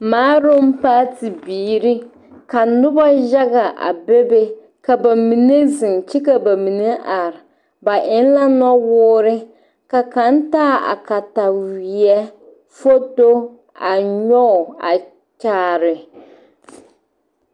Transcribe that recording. Maaroŋ paati biiri ka noba yaga a bebe ka ba mine zeŋ kyɛ ka ba mine are ba eŋ la nuwoore ka kaŋ taa a kataweɛ foto a nyɔge a kyaare.